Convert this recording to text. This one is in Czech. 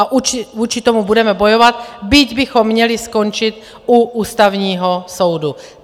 A vůči tomu budeme bojovat, byť bychom měli skončit u Ústavního soudu.